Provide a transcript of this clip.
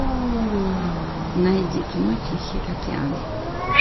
найди кино тихий океан